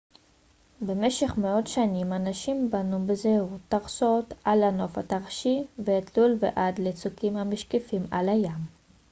במשך מאות שנים אנשים בנו בזהירות טרסות על הנוף הטרשי והתלול ועד לצוקים המשקיפים על הים